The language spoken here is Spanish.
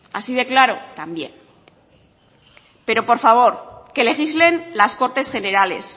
así de claro también pero por favor que legislen las cortes generales